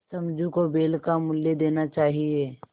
समझू को बैल का मूल्य देना चाहिए